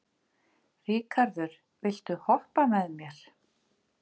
Ríkharður, viltu hoppa með mér?